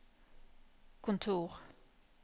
kontor